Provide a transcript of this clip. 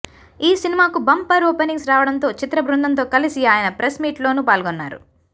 ఈ సినిమాకు bumper openings రావడంతో చిత్ర బృందంతో కలిసి ఆయన ప్రెస్ మీట్లోనూ పాల్గొన్నారు